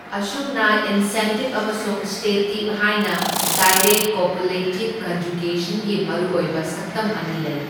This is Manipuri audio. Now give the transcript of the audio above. ꯑꯁꯨꯝꯅ ꯏꯟꯁꯦꯞꯇꯤꯕ ꯑꯃꯁꯨꯡ ꯁ꯭ꯇꯦꯇꯤꯕ ꯍꯥꯏꯅ ꯗꯥꯏꯔꯦꯛ ꯀꯣꯄꯨꯂꯦꯇꯤꯕ ꯀꯟꯖꯨꯒꯦꯁꯟꯒꯤ ꯃꯔꯨꯑꯣꯏꯕ ꯁꯛꯇꯝ ꯑꯅꯤ ꯂꯩ꯫